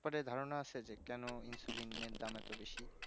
but এই ধারণা আসে যে কোনো insuline এর দাম এতো বেশি